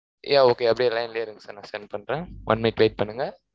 Yeah okay அப்படியே line லயே இருங்க sir நான் send பண்றேன். one minute wait பண்ணுங்க